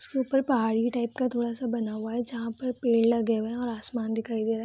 उसके ऊपर पहाड़ी टाइप का थोड़ा-सा बना हुआ है जहां पर पेड़ लगे हुए है और आसमान दिखाई दे रहा है।